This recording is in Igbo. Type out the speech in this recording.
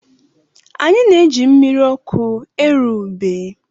Anyị na-eji mmiri ọkụ eru ubé.